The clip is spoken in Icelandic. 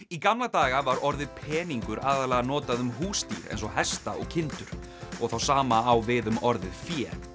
í gamla daga var orðið peningur aðallega notað um húsdýr eins og hesta og kindur og það sama á við um orðið fé